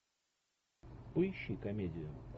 поищи комедию